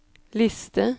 liste